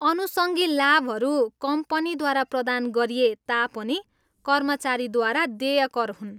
अनुसङ्गी लाभहरू कम्पनीद्वारा प्रदान गरिए तापनि कर्मचारीद्वारा देय कर हुन्।